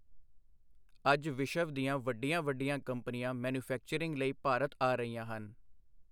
ਅੱਜ ਵਿਸ਼ਵ ਦੀਆਂ ਵੱਡੀਆਂ ਵੱਡੀਆਂ ਕੰਪਨੀਆਂ ਮੈਨਿਊਫੈਕਚਰਿੰਗ ਲਈ ਭਾਰਤ ਆ ਰਹੀਆਂ ਹਨ।